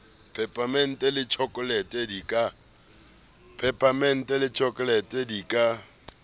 peparemente le tjhokolete di ka